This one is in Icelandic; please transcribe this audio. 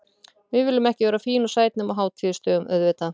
Við viljum ekki vera fín og sæt nema á hátíðisdögum auðvitað.